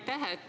Aitäh!